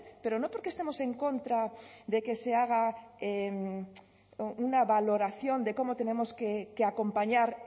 pero no porque estemos en contra de que se haga una valoración de cómo tenemos que acompañar